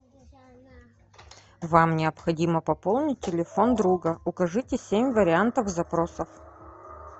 вам необходимо пополнить телефон друга укажите семь вариантов запросов